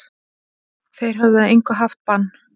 Þeir höfðu að engu haft bann